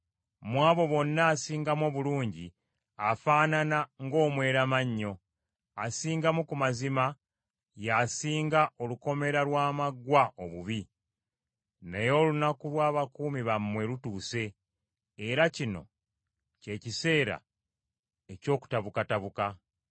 Mu abo bonna asingamu obulungi, afaanana ng’omweramannyo; asingamu ku mazima y’asinga olukomera lw’amaggwa obubi. Naye olunaku lw’abakuumi bammwe lutuuse, era kino kye kiseera eky’okutabukatabuka.